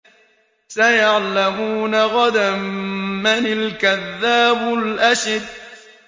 سَيَعْلَمُونَ غَدًا مَّنِ الْكَذَّابُ الْأَشِرُ